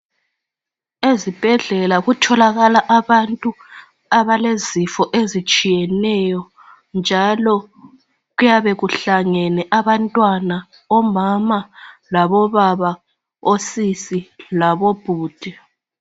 Ezibhedlela kutholakala abantu abalezifo ezitshiyeneyo njalo kuyabe kuhlangene abantwana, omama la labobaba ,osisi labobhudi.